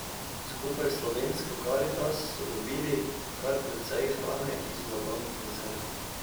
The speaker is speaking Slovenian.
Skupaj s Slovensko karitas so dobili kar precej hrane iz blagovnih rezerv.